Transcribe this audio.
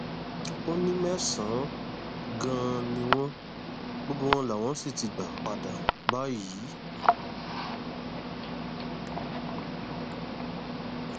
ó ní mẹsànán ganan ni wọn gbogbo wọn làwọn sì ti gbà padà báyìí